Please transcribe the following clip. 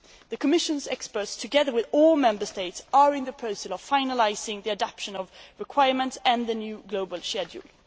The Commission's experts, together with all Member States, are in the process of finalising the adaptation of requirements and the new global schedule.